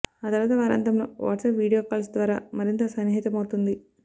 ఆ తర్వాత వారాంతంలో వాట్సప్ వీడియో కాల్స్ ద్వారా మరింత సన్నిహితమవుతుంది